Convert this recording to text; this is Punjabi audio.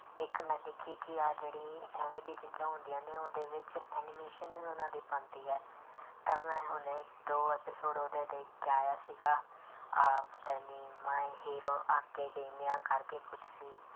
ਇੱਕ ਮੈਂ ਦੇਖੀ ਕਿ ਆਹ ਜਿਹੜੀ ਇਵੇਂ ਦੀ ਚੀਜ਼ਾਂ ਹੁੰਦੀਆਂ ਨੇ ਉਹਦੇ ਵਿੱਚ animation ਵੀ ਉਹਨਾਂ ਦੀ ਬਣਦੀ ਹੈ ਤਾਂ ਮੈਂ ਹੁਣੇ ਦੋ episode ਉਹਦੇ ਦੇਖ ਕੇ ਆਇਆ ਸੀਗਾ ਆਹ ਪਤਾ ਨੀ my hero ਅਕੈਡਮੀਆ ਕਰਕੇ ਕੁਛ ਸੀ।